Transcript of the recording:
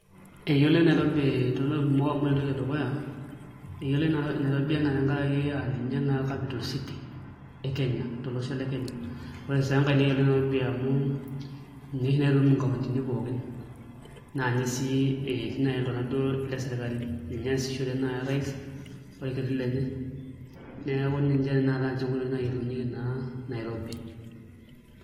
Eyioloi Nairobi toontokitin kumok amu ore entoki edukuya eyioloi Nairobi enaa tenkaraki aa ninye naa capital city tolosho le Kenya ore sii enkae neyioloi amu ninye oshi naitutum nkauntini pookin naa ninye sii etii naai iltung'anak duoo le sirkali, ninye eesishore naai orais orkiti lenye neeku ninche tanakata nche enkoitoi nayiolounyieki naa Nairobi.